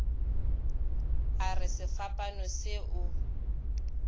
a re sefapano se o